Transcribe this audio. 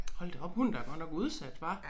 Hold da op hun er da godt nok udsat hva